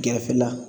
Gɛrɛfɛla